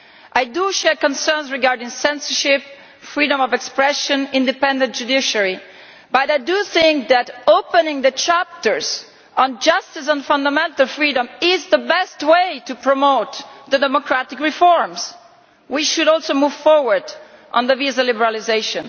I share concerns regarding censorship, freedom of expression and the independence of the judiciary, but I think that opening the chapters on justice and fundamental freedom is the best way to promote democratic reforms. We should also move forward on visa liberalisation.